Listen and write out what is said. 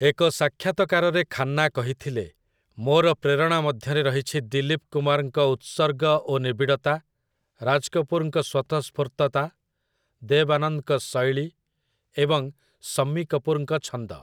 ଏକ ସାକ୍ଷାତକାରରେ ଖାନ୍ନା କହିଥିଲେ, "ମୋର ପ୍ରେରଣା ମଧ୍ୟରେ ରହିଛି ଦିଲୀପ୍ କୁମାର୍‌ଙ୍କ ଉତ୍ସର୍ଗ ଓ ନିବିଡ଼ତା, ରାଜ୍ କପୁରଙ୍କ ସ୍ଵତଃସ୍ଫୂର୍ତ୍ତତା, ଦେବ୍ ଆନନ୍ଦଙ୍କ ଶୈଳୀ ଏବଂ ଶମ୍ମୀ କପୁର୍‌ଙ୍କ ଛନ୍ଦ" ।